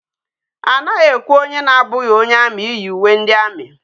Anaghi ekwe onye na abughi onye army iyi uwe ndi army